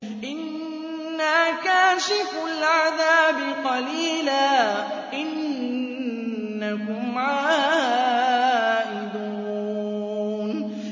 إِنَّا كَاشِفُو الْعَذَابِ قَلِيلًا ۚ إِنَّكُمْ عَائِدُونَ